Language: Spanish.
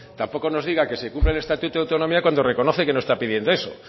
tampoco nos diga que se incumple el estatuto de autonomía cuando reconoce que no está pidiendo eso